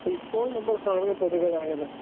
speaker 2 അപ്പൊ ഇപ്പോൾ നമ്മൾ കാണുന്ന പൊതുഗതാഗതം